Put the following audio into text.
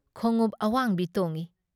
ꯈꯣꯡꯎꯞ ꯑꯋꯥꯡꯕꯤ ꯇꯣꯡꯏ ꯫